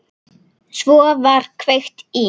Svo var kveikt í.